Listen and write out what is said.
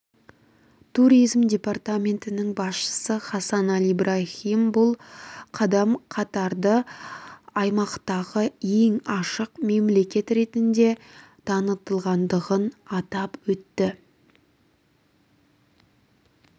туризм департаментінің басшысы хасан аль ибрахимбұл қадам катарды аймақтағы ең ашық мемлекет ретінде танытатындығын атап өтті